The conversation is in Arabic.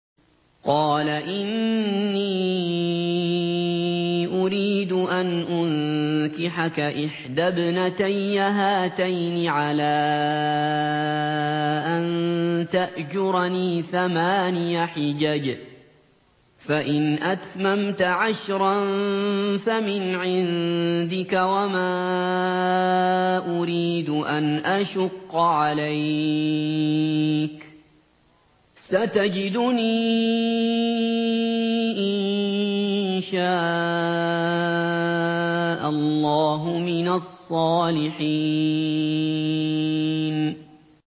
قَالَ إِنِّي أُرِيدُ أَنْ أُنكِحَكَ إِحْدَى ابْنَتَيَّ هَاتَيْنِ عَلَىٰ أَن تَأْجُرَنِي ثَمَانِيَ حِجَجٍ ۖ فَإِنْ أَتْمَمْتَ عَشْرًا فَمِنْ عِندِكَ ۖ وَمَا أُرِيدُ أَنْ أَشُقَّ عَلَيْكَ ۚ سَتَجِدُنِي إِن شَاءَ اللَّهُ مِنَ الصَّالِحِينَ